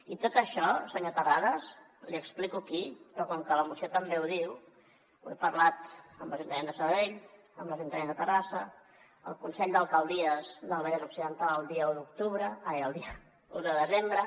i tot això senyor terrades l’hi explico aquí però com que la moció també ho diu ho he parlat amb l’ajuntament de sabadell amb l’ajuntament de terrassa el consell d’alcaldies del vallès occidental el dia un de desembre